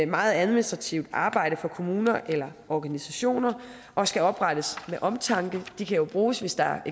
meget administrativt arbejde for kommuner eller organisationer og skal oprettes med omtanke de kan jo bruges hvis der